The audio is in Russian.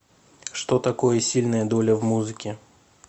что такое сильная доля в музыке